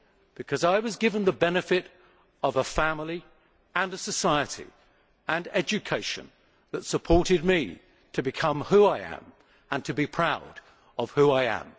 Because I was given the benefit of a family and a society and education that supported me so that I could become who I am and to be proud of who I am.